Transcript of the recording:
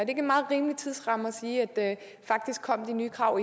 ikke en meget rimelig tidsramme at sige at de nye krav